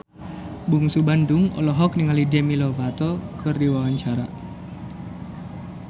Bungsu Bandung olohok ningali Demi Lovato keur diwawancara